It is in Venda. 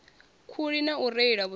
khuli na u reila vhusiku